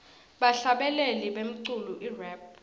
bahlabeleli bemculo irap